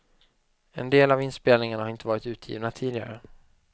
En del av inspelningarna har inte varit utgivna tidigare.